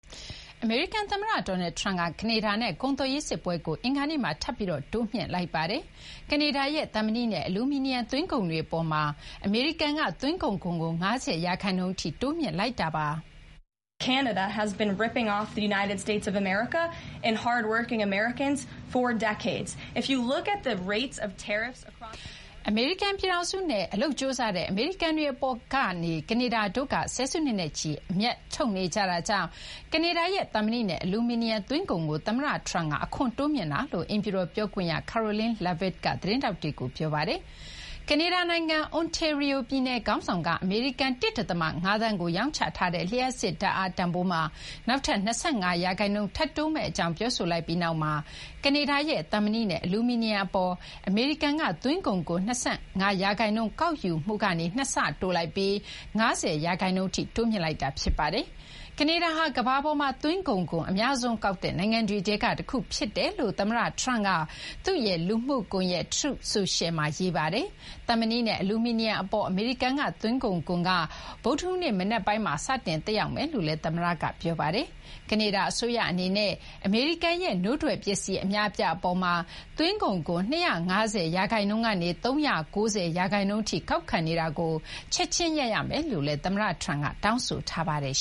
အမေရိကန်သမ္မတ Donald Trump က ကနေဒါနဲ့ ကုန်သွယ်ရေးစစ်ပွဲကို အင်္ဂါနေ့မှာ ထပ်ပြီး တိုးမြှင့်လိုက်ပါတယ်။ ကနေဒါရဲ့ သံမဏိနဲ့ အလူမီနီယံ သွင်းကုန်တွေအပေါ်မှာ အမေရိကန်က သွင်းကုန်ခွန်ကို ၅၀% ထိ တိုးမြှင့်လိုက်ပါတယ်။ အမေရိကန်နဲ့ အလုပ်ကြိုးစားတဲ့ အမေရိကန်တွေအပေါ်မှာ ကနေဒါတို့က ဆယ်စုနှစ်နဲ့ချီ အမြတ်ထုတ်နေကြတာကြောင့် ကနေဒါရဲ့ သံမဏိနဲ့ အလူမီနီယံ သွင်းကုန်ခွန်ကို သမ္မတ Trump က တိုးမြှင့်လိုက်တာလို့ အိမ်ဖြူတော်ပြောခွင့်ရ Karoline Leavitt က သတင်းထောက်တွေကို ပြောပါတယ်။ ကနေဒါနိုင်ငံ Ontario ပြည်နယ် ခေါင်းဆောင်က အမေရိကန် ၁.၅ သန်းကို ရောင်းချထားတဲ့ လျှပ်စစ်ဓာတ်အား တန်ဖိုးမှာ နောက်ထပ် ၂၅% ထပ်တိုးမယ့်အကြောင်း ပြောဆိုလိုက်ပြီးနောက်မှာ ကနေဒါရဲ့ သံမဏိနဲ့ အလူမီနီယံအပေါ် အမေရိကန်က သွင်းကုန်ခွန် ၂၅% ကောက်ယူမှုကနေ ၂ ဆ တိုးပြီး ၅၀% အထိ တိုးမြှင့်လိုက်တာ ဖြစ်ပါတယ်။ ကနေဒါဟာ ကမ္ဘာပေါ်မှာ သွင်းကုန်ခွန် အများဆုံးကောက်တဲ့ နိုင်ငံတွေထဲက တခုဖြစ်ကြောင်း သမ္မတ Trump က သူ့ရဲ့လူမှုကွန်ရက် Truth Social မှာ ရေးထားပါတယ်။ သံမဏိနဲ့ အလူမီနီယံအပေါ် အမေရိကန် သွင်းကုန်ခွန်က ဗုဒ္ဓဟူးနေ့မနက်ပိုင်းမှာ စတင် သက်ရောက်မယ့်အကြောင်းလည်း သမ္မတက ပြောပါတယ်။ ကနေဒါအစိုးရအနေနဲ့ အမေရိကန်ရဲ့ နို့ထွက်ပစ္စည်း အများအပြားအပေါ်မှာ သွင်းကုန်ခွန် ၂၅၀% ကနေ ၃၉၀% ထိ ကောက်ခံနေတာကို ချက်ချင်း ရပ်ရမယ်လို့လည်း သမ္မတ Trump က တောင်းဆိုထားပါတယ်